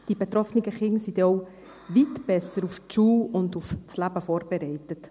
Die betroffenen Kinder sind denn auch weit besser auf die Schule und aufs Leben vorbereitet.